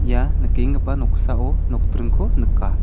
ia nikenggipa noksao nokdringko nika.